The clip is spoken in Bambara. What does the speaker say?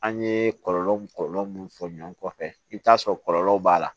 An ye kɔlɔlɔ mun kɔlɔlɔ mun fɔ ɲɔɔn kɔfɛ i bi t'a sɔrɔ kɔlɔlɔw b'a la